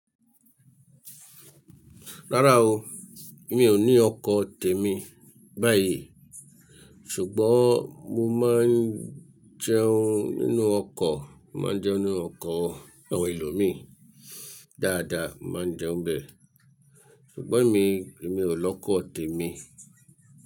Rárá o, mi ò ní ọkọ̀ tèmi báyìí, ṣùgbọ́n mo máa ń jẹun nínú ọkọ̀, mo máa n jẹun nínú ọkọ̀ àwọn eeyan míí dáadáa, mo máa jẹun bẹ. Ṣùgbọ́n emi, èmi ò lọ́kọ̀ tèmi.